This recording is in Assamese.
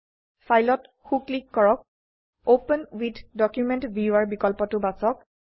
ফাইলত সো ক্লিক কৰক অপেন ৱিথ ডকুমেণ্ট ভিউৱাৰ বিকল্পটো বাছক